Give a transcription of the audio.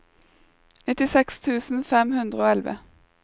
nittiseks tusen fem hundre og elleve